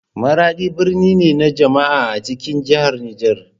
Maradi birni ne na jama'a a cikin jihar Niger.